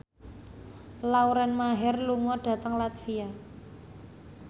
Lauren Maher lunga dhateng latvia